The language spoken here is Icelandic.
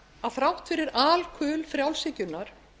að þrátt fyrir alkul frjálshyggjunnar